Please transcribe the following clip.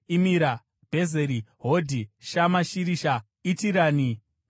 Bhezeri, Hodhi, Shama Shirisha, Itirani, naBheera.